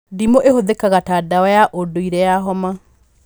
Ndimũ ĩhũthĩkaga ta ndawa ya ũndũire ya homa